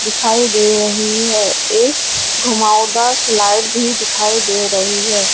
दिखाई दे रही है एक घूमावदार स्लाइड भी दिखाई दे रही है।